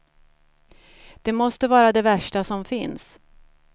Det måste vara det värsta som finns.